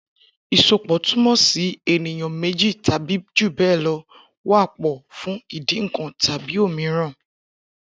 Isópọ tumọ si eniyan méjí tàbí júbẹlọ wà pọ fún ìdí nkàn tàbí òmíràn.